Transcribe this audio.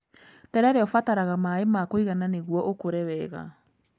Terere ũbataraga maaĩ makũigana nĩguo ũkure wega.